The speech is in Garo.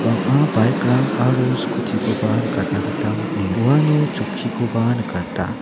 bang·a bike-rang aro scooty-koba nikatna gita man·enga uano chokkikoba nikata.